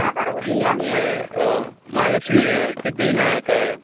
आहे, महालक्ष्मी आहे, सिद्धिविनायक आहे.